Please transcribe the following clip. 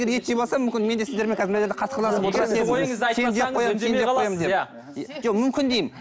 ет жеп алсам мүмкін менде сіздермен мына жерде қасқырланып жоқ мүмкін деймін